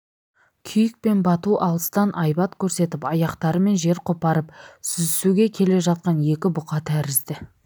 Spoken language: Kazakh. күйік пен бату алыстан айбат көрсетіп аяқтарымен жер қопарып сүзісуге келе жатқан екі бұқа тәрізді